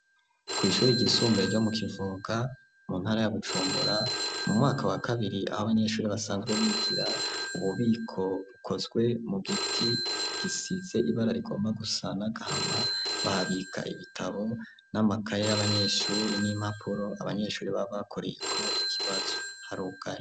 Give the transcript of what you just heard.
Kw' ishuri ryisumbuye ryo mu kivoga mu ntara ya Bujumbura, mu mwaka wa kabiri, ab' Abanyeshuri basanzwe bigira, ububiko bukozwe mu giti gisize ibara rigomba gusa n'agahama bahabika ibitabo, n'amakaye y'Abanyeshuri, n'Imapuro Abanyeshuri babakoreyeko ikibazo harugaye.